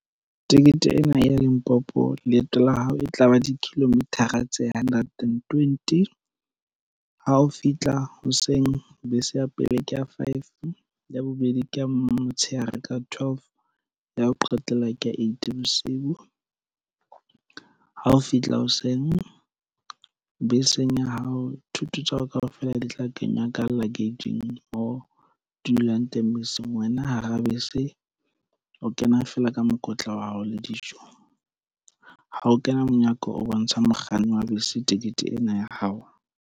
Tikete ena ya Limpopo leeto la hao e tlaba di-kilometer-a tse hundred and twenty ha o fihla hoseng bese ya pele ke ya five ya bobedi ke ya motshehare ka twelve ya ho qetela ke ya eight bosiu. Ha o fihla hoseng beseng ya hao thoto tsa hao kaofela di tla kenya ka luggage-ng mo dulang teng beseng wena hara bese o kena feela ka mokotla wa hao le dijo ha o kena monyako o bontsha mokganni wa bese tikete ena ya hao.